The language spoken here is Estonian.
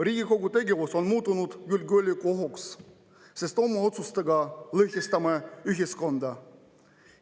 Riigikogu tegevus on muutunud julgeolekuohuks, sest oma otsustega me lõhestame ühiskonda.